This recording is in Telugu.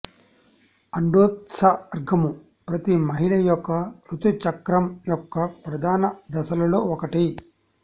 అండోత్సర్గము ప్రతి మహిళ యొక్క ఋతు చక్రం యొక్క ప్రధాన దశలలో ఒకటి